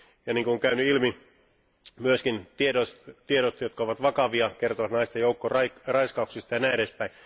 Ja niin kuin on käynyt ilmi, myöskin tiedot, jotka ovat vakavia, kertovat naisten joukkoraiskauksista ja näin edespäin.